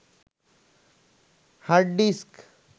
hard disk